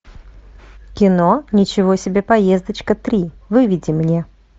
кино ничего себе поездочка три выведи мне